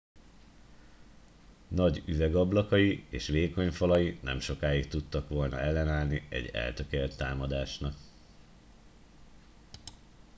nagy üvegablakai és vékony falai nem sokáig tudtak volna ellenállni egy eltökélt támadásnak